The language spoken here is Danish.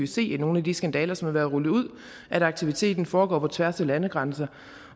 se i nogle af de skandaler som har været rullet ud at aktiviteten foregår på tværs af landegrænser